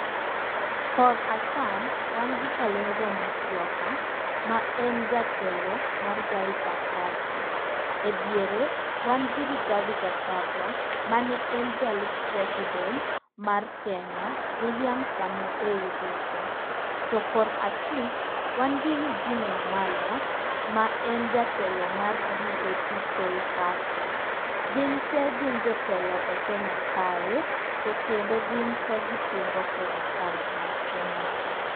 Kor acham wan gi Kalonzo Musyoka ma en jatelo mar Wiper Party. E diere wan gi Rigathi Kachagwa, mane en jalup president mar Kenya, WIlliam Samoei Ruto. To kor achich, wan gi Eugine Wamalwa, ma en jatelo mar DAP K party. Gin te gin jotelo e Kenya kae, to kendo gin te gipingo serekal mar Kenya ka.